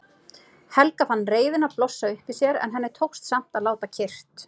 Helga fann reiðina blossa upp í sér en henni tókst samt að láta kyrrt.